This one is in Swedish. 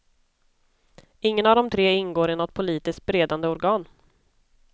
Ingen av de tre ingår i något politiskt beredande organ.